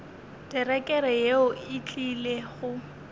terekere yeo e tlile go